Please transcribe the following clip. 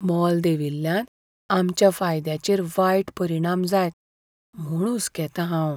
मोल देंविल्ल्यान आमच्या फायद्याचेर वायट परिणाम जायत म्हूण हुसकेतां हाव.